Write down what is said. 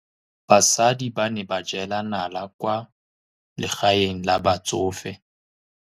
Basadi ba ne ba jela nala kwaa legaeng la batsofe.